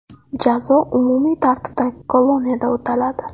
Jazo umumiy tartibdagi koloniyada o‘taladi.